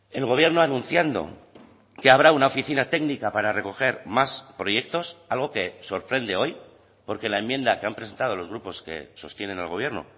el gobierno anunciando que habrá una oficina técnica para recoger más proyectos algo que sorprende hoy porque la enmienda que han presentado los grupos que sostienen al gobierno